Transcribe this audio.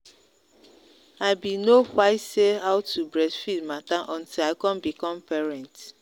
i been no say how to breastfeed matter until i come become parent.